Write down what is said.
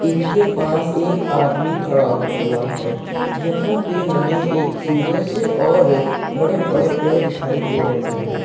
इनके पास एक आदमी खड़ा हुआ है। यहाँ पे हमें सूरज और बड़े बड़े पेड़ दिखाई दे रहे हैं।